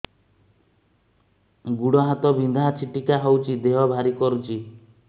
ଗୁଡ଼ ହାତ ବିନ୍ଧା ଛିଟିକା ହଉଚି ଦେହ ଭାରି କରୁଚି